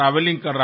अच्छा